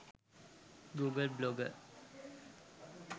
google blogger